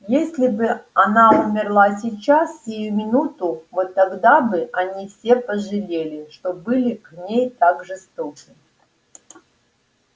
если бы она умерла сейчас сию минуту вот тогда бы они все пожалели что были к ней так жестоки